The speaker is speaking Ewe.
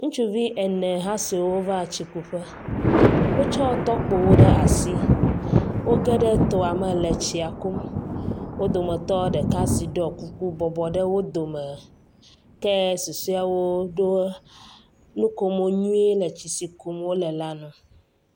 Ŋtsuvi ene ha siwo va tsikuƒe. Wotsɔ tɔkpowo ɖe asi. Wo geɖe tsia me le tsi kum. Wo dometɔ ɖeka siwo ɖɔ kuku bɔbɔ ɖe wo dome ke susɔe ɖo nukomo nyuie le tsi si kum wo le la nu.